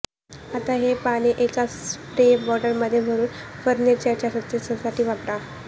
आता हे पाणी एका स्प्रे बॉटलमध्ये भरून फर्नीचरच्या स्वच्छतेसाठी वापरा